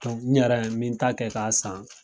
N yɛrɛ n min ta kɛ k'a san.